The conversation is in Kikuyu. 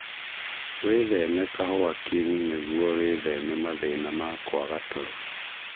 Wĩtheme kahũa king nĩguo wĩtheme mathĩna ma kwaga toro